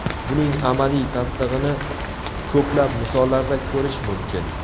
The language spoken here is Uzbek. Buning amaliy tasdig‘ini ko‘plab misollarda ko‘rish mumkin.